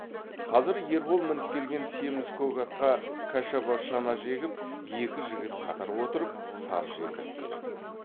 қазір ербол мініп келген семіз көк атқа кәшаба шана жегіп екі жігіт қатар отырып сар желдіріп келеді